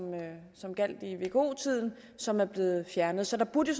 gjaldt i vko tiden som er blevet fjernet så der burde